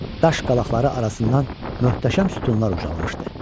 Daş qalaqları arasından möhtəşəm sütunlar ucalmışdı.